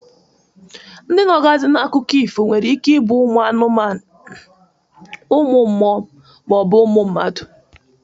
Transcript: Ndị nọgazi n'akụkọ ifo nwere ike ibụ uMụ anụmanụ, uMụ mMụo ma ọ bụ uMụ mmadu.